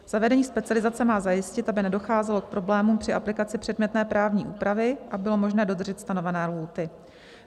Zavedení specializace má zajistit, aby nedocházelo k problémům při aplikaci předmětné právní úpravy a bylo možné dodržet stanovené lhůty.